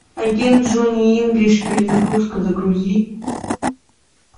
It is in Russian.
агент джонни инглиш перезагрузка загрузи